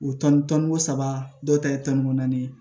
O tɔn tɔnko saba dɔw ta ye tɔni ko naani ye